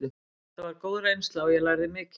Þetta var góð reynsla og ég lærði mikið.